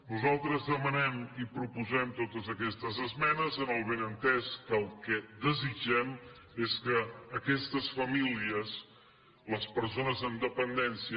nosaltres demanem i proposem totes aquestes esmenes amb el benentès que el que desitgem és que aquestes famílies les persones amb dependència